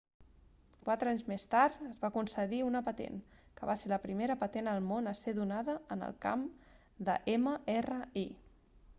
quatre anys més tard es va concedir una patent que va ser la primera patent al món a ser donada en el camp de mri